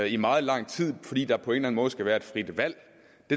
i meget lang tid fordi der på en eller en måde skal være et frit valg